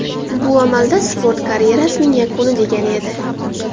Bu amalda sport karyerasining yakuni degani edi.